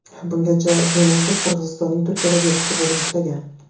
Bungacha Junusov Qirg‘izistonning Turkiyadagi elchisi bo‘lib ishlagan.